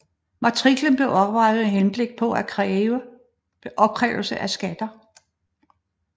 Matriklen blev oprettet med henblik på opkrævelse af skatter